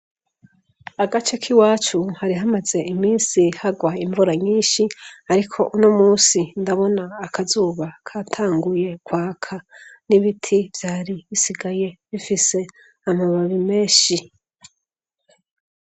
Agace k'iwacu hari hamaze imisi hagwa imvura nyinshi, ariko uno musi ndabona akazuba katanguye kwaka. N'ibiti vyari bisigaye bifise amababi menshi.